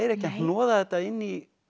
ekki að hnoða þetta inn í